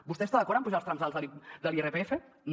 vostè està d’acord en apujar els trams alts de l’irpf no